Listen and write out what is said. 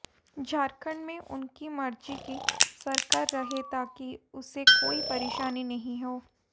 झारखंड में उनकी मर्जी की सरकार रहे ताकि उसे कोई परेशानी नहीं हो